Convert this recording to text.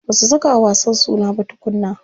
Ba su saka wa wasan suna ba tukunna.